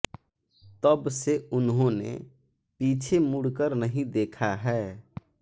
तब से उन्होंने पीछे मुड कर नहीं देखा है